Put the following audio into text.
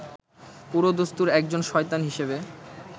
পুরোদস্তুর একজন শয়তান হিসেবে